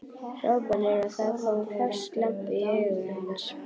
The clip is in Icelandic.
hrópanir og það kom hvass glampi í augu hans.